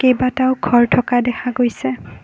কেইবাটাও ঘৰ থকা দেখা গৈছে।